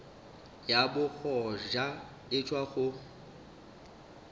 ya bogoja e tšwa go